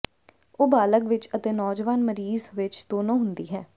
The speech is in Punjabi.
ਉਹ ਬਾਲਗ ਵਿੱਚ ਅਤੇ ਨੌਜਵਾਨ ਮਰੀਜ਼ ਵਿੱਚ ਦੋਨੋ ਹੁੰਦੀ ਹੈ